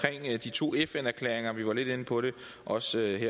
tusind og sytten